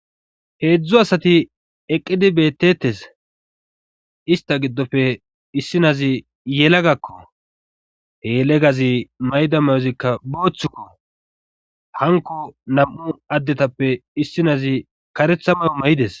heedzdzu asati eqqidi beettetes ista giddofe issi nazi yelagakko helegazi mayda mayozikka booththukko hanko nam7u addetappe issinazi karetha mayo may7ides